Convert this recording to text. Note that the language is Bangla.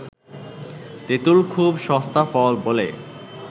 তেঁতুল খুব সস্তা ফল বলে